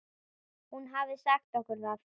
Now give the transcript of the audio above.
Hann hafði sagt okkur það.